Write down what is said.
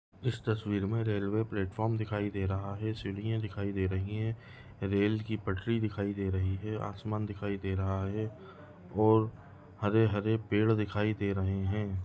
इस तस्वीर मैं रेलवे प्लेटफार्म दिखाई दे रहा हैं सीढ़ियां दिखाई दे रही है रेल की पटरी दिखाई दे रही है आसमान दिखाई दे रहा है और हरे हरे पेड़ दिखाई दे रहे है।